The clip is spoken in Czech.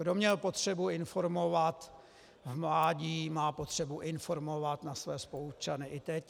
Kdo měl potřebu informovat v mládí, má potřebu informovat na své spoluobčany i teď.